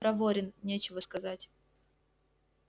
проворен нечего сказать